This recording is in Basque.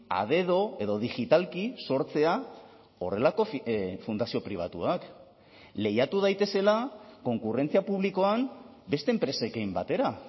a dedo edo digitalki sortzea horrelako fundazio pribatuak lehiatu daitezela konkurrentzia publikoan beste enpresekin batera